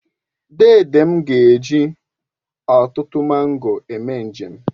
Dede m ga-eji ọtụtụ mango eme njem